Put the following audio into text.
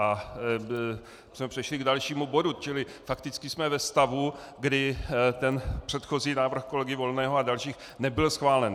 My jsme přešli k dalšímu bodu, čili fakticky jsme ve stavu, kdy ten předchozí návrh kolegy Volného a dalších nebyl schválen.